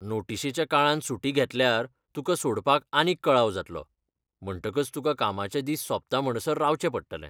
नोटिशेच्या काळांत सुटी घेतल्यार, तुका सोडपाक आनीक कळाव जातलो, म्हणटकच तुका कामाचे दीस सोंपता म्हणसर रावचें पडटलें.